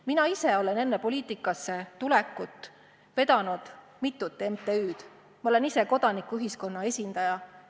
Mina ise olen enne poliitikasse tulekut vedanud mitut MTÜ-d, ma olen ise kodanikuühiskonna esindaja.